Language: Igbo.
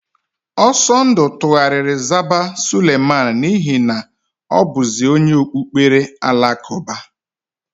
Ọsọndụ tugharịrị zaba Suleman n'ihi na ọ bụzi onye okpukpere Alakụba.